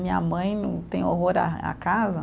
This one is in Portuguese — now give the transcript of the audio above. Minha mãe, tem horror a à casa.